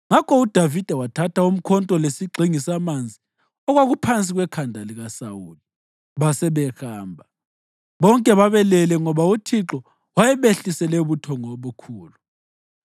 Ngakho uDavida wathatha umkhonto lesigxingi samanzi okwakuphansi kwekhanda likaSawuli, basebehamba. Bonke babelele ngoba uThixo wayebehlisele ubuthongo obukhulu.